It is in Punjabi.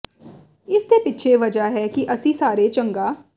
ਇਸ ਦੇ ਪਿੱਛੇ ਵਜ੍ਹਾ ਹੈ ਕਿ ਅਸੀਂ ਸਾਰੇ ਚੰਗਾ